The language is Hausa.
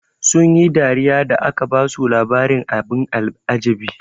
Sun yi dariya da aka basu labarin abin al'ajabi.